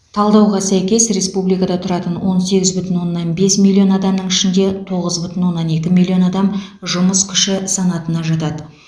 талдауға сәйкес республикада тұратын он сегіз бүтін оннан бес миллион адамның ішінде тоғыз бүтін оннан екі миллион адам жұмыс күші санатына жатады